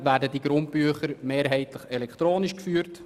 Die Grundbücher werden mehrheitlich elektronisch geführt.